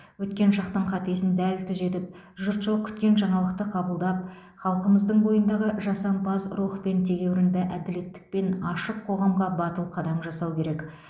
өткен шақтың қатесін дәл түзетіп жұртшылық күткен жаңалықты қабылдап халқымыздың бойындағы жасампаз рух пен тегеурінді әділеттілікпен ашық қоғамға батыл қадам жасау керек